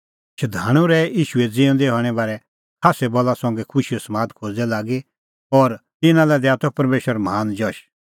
शधाणूं रहै प्रभू ईशूए ज़िऊंदै हणें बारै खास्सै बला संघै खुशीओ समाद खोज़दै लागी और तिन्नां लै दैआ त परमेशर महान जश